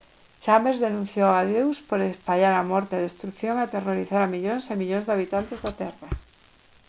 chambers denunciou a deus por «espallar a morte a destrución e aterrorizar a millóns e millóns de habitantes da terra»